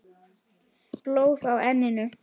Blóð á enninu.